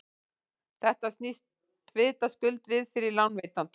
þetta snýst vitaskuld við fyrir lánveitanda